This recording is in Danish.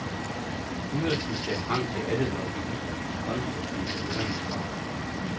Styrelsen ser frem til alle lobbyisternes konstruktive høringssvar.